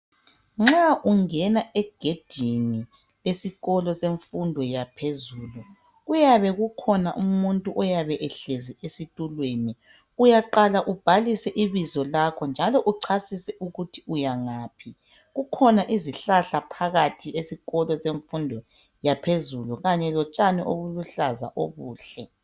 nxa ungena egedini lemfundo yaphezulu kuyabe kukhona umuntu oyabe ehlezi estulweni uyaqhala ubhaliswe ibizolakho njalo usuchasisa ukuthi yangaphi kukhona izihlahla phakathi kwesikolo kwesikolo semfundo yaphezulu lotshani obuluhlaza tshoko